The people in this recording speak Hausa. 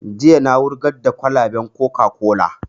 Jiya na wurgar da kwalaban coca-cola